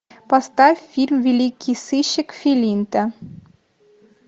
поставь фильм великий сыщик филинта